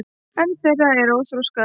einn þeirra er óþroskaður